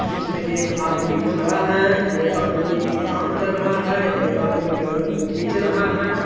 उसमे एक आदमी खड़ा हैं एक आदमी कम कर रहा हैं एक आदमी बेड को खीच रहा हैं।